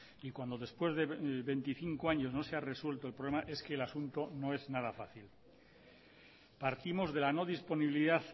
y cuando después de veinticinco años no se ha resuelto el problema es que el asunto no es nada fácil partimos de la no disponibilidad